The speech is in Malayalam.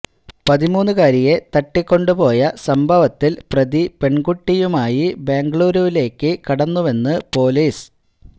പതിമൂന്നുകാരിയെ തട്ടിക്കൊണ്ട് പോയ സംഭവത്തില് പ്രതി പെൺകുട്ടിയുമായി ബെംഗളൂരുവിലേക്ക് കടന്നുവെന്ന് പൊലീസ്